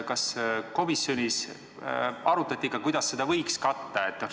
Kas komisjonis arutati ka, kuidas seda võiks katta?